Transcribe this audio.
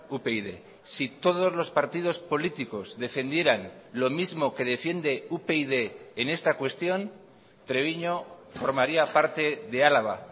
upyd si todos los partidos políticos defendieran lo mismo que defiende upyd en esta cuestión treviño formaría parte de álava